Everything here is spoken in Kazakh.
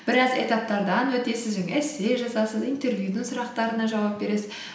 біраз этаптардан өтесіз жаңағы эссе жазасыз интервьюдің сұрақтарына жауап бересіз